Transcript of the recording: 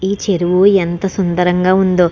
ఈ చెరువు ఎంత సుందరంగా ఉందో.